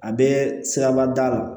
A bɛ sirabada